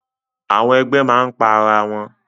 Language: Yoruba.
Àwọn ẹgbẹ máa n pa ará wọn.